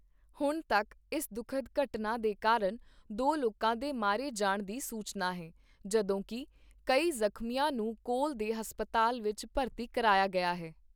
ਹੁਣ ਤੱਕ ਇਸ ਦੁੱਖਦ ਘਟਨਾ ਦੇ ਕਾਰਨ ਦੋ ਲੋਕਾਂ ਦੇ ਮਾਰੇ ਜਾਣ ਦੀ ਸੂਚਨਾ ਹੈ, ਜਦੋਕਿ ਕਈ ਜਖ਼ਮੀਆਂ ਨੂੰ ਕੋਲ ਦੇ ਹਸਪਤਾਲ ਵਿੱਚ ਭਰਤੀ ਕਰਾਇਆ ਗਿਆ ਹੈ।